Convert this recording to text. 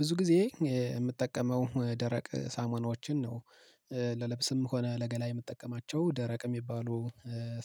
ብዙ ጊዜ የምጠቀመው ደረቅ ሳሞናዎችን ነው። ለልብስም ሆነ ለገላዬ የምጠቀማቸው ደረቅ የሚባሉ